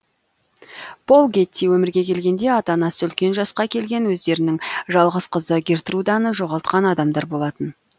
пол гетти өмірге келгенде ата анасы үлкен жасқа келген өздерінің жалғыз қызы гертруданы жоғалтқан адамдар болатын